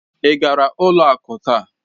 Ị gara ụlọ akụ taa?